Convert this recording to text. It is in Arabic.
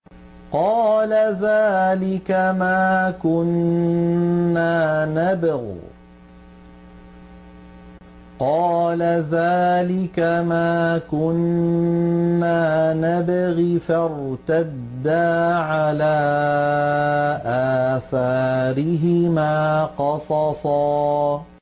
قَالَ ذَٰلِكَ مَا كُنَّا نَبْغِ ۚ فَارْتَدَّا عَلَىٰ آثَارِهِمَا قَصَصًا